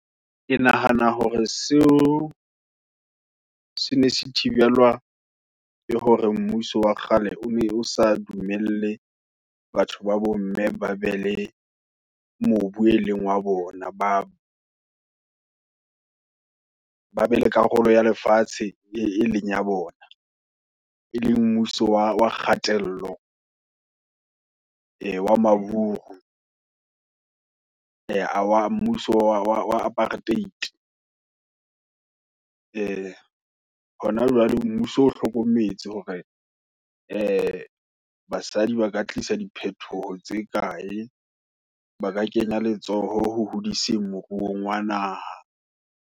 Ke nahana hore seo, sene se thibelwa, ke hore mmuso wa kgale, o ne o sa dumelle, batho babo mme, ba be le mobu, e leng wa bona, ba ba be le karolo ya lefatshe, e leng ya bona. E le mmuso wa wa kgatello, e wa maburu, e a wa wa mmuso wa Apartheid. E hona jwale mmuso o hlokometse hore, e basadi ba ka tlisa, diphethoho tse ikae, ba ka kenya letsoho, ho hodise moruong wa naha.